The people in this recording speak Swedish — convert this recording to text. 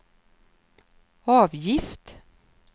avgift